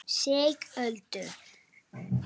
Sigöldu